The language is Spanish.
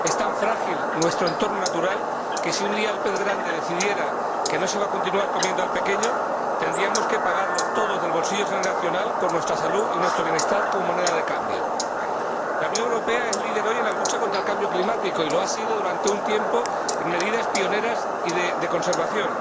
Es tan frágil nuestro entorno natural que si un día el pez grande decidiera que no se va a continuar comiendo al pequeño, tendríamos que pagarlo todo del bolsillo generacional con nuestra salud y nuestro bienestar como moneda de cambio. La Unión Europea es líder hoy en la lucha contra el cambio climático y lo ha sido durante un tiempo en medidas pioneras y de conservación.